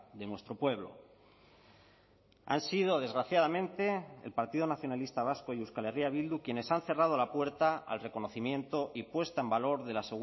de nuestro pueblo han sido desgraciadamente el partido nacionalista vasco y euskal herria bildu quienes han cerrado la puerta al reconocimiento y puesta en valor de la